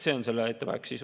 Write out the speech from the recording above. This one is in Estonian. See on selle ettepaneku sisu.